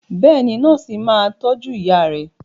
Bẹ́ẹ̀ni, nọ́ọ̀sì náà máa tọ́jú ìyá rẹ.